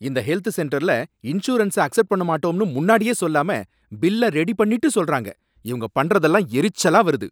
இந்த ஹெல்த் சென்டர்ல insurance accept பண்ண மாட்டோம்னு முன்னாடியே சொல்லாம பில்ல ரெடி பண்ணிட்டு சொல்றாங்க, இவங்க பண்றதெல்லாம் எரிச்சலா வருது